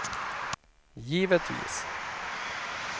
givetvis